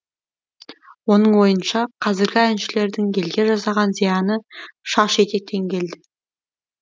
оның ойынша қазіргі әншілердің елге жасаған зияны шаш етектен келді